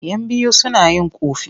Yan biyu suna yin ƙofi.